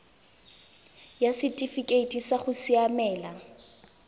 ya setifikeite sa go siamela